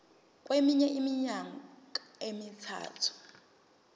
kweminye iminyaka emithathu